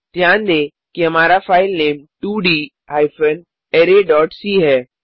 ध्यान दें कि हमारा फाइलनेम 2डी हाइफेन अराय डॉट सी है